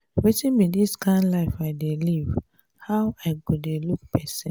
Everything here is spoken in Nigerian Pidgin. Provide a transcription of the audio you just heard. wetin be dis kin life i dey live how i go dey look person.